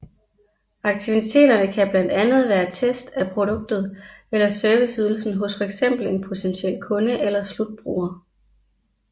Aktiviteterne kan blandt andet være test af produktet eller serviceydelsen hos fx en potentiel kunde eller slutbruger